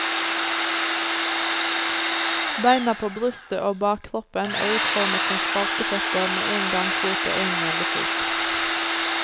Beina på brystet og bakkroppen er utformet som spalteføtter med en gangfot og en gjellefot.